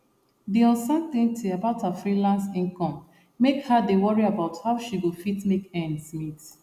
the uncertainty about her freelance income make her dey worry about how she go fit make ends meet